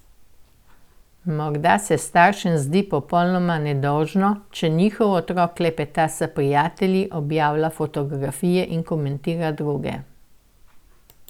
Morda se staršem zdi popolnoma nedolžno, če njihov otrok klepeta s prijatelji, objavlja fotografije in komentira druge.